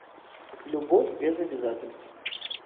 любовь без обязательств